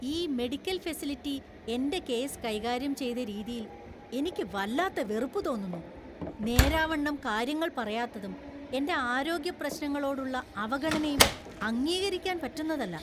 ഈ medical facility എന്‍റെ case കൈകാര്യം ചെയ്ത രീതിയിൽ എനിക്ക് വല്ലാത്ത വെറുപ്പ് തോന്നുന്നു. നേരാവണ്ണം കാര്യങ്ങൾ പറയാത്തതും എന്‍റെ ആരോഗ്യപ്രശ്നങ്ങളോടുള്ള അവഗണനയും അംഗീകരിക്കാൻ പറ്റുന്നതല്ല .